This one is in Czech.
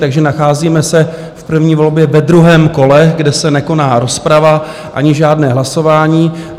Takže nacházíme se v první volbě ve druhém kole, kde se nekoná rozprava ani žádné hlasování.